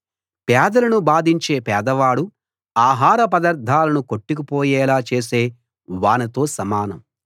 పేదలను బాధించే పేదవాడు ఆహారపదార్థాలను కొట్టుకుపోయేలా చేసే వానతో సమానం